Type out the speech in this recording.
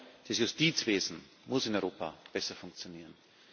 Vor allem das Justizwesen muss in Europa besser funktionieren.